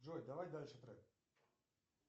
джой давай дальше трек